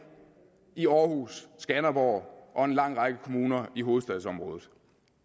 i aarhus skanderborg og en lang række kommuner i hovedstadsområdet